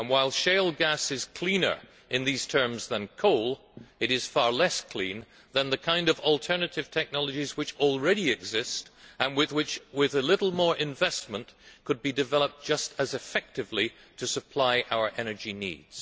While shale gas is cleaner in these terms than coal, it is far less clean than the kind of alternative technologies which already exist and which, with a little more investment, could be developed just as effectively to supply our energy needs.